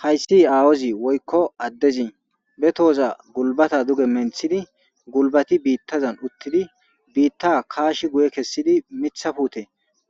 Hayssi aawozi woykko addezi be tooza gulbata duge menthidi gulbati biittazan uttidi biitta kaashi guye kessidi mithafute